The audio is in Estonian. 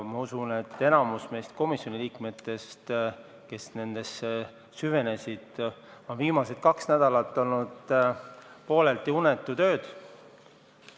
Ma usun, et enamikul komisjoni liikmetest, kes asjasse süvenesid, on viimased kaks nädalat olnud pooleldi unetud ööd.